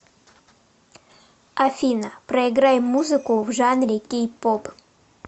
афина проиграй музыку в жанре кей поп